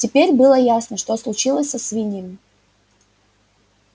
теперь было ясно что случилось со свиньями